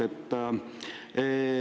Hea Mart!